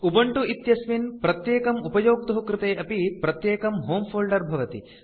Ubuntu इत्यस्मिन् प्रत्येकम् उपयोक्तुः कृते अपि प्रत्येकं होमे फोल्डर भवति